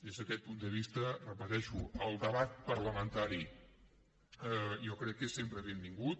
des d’aquest punt de vista ho repeteixo el debat parlamentari jo crec que és sempre benvingut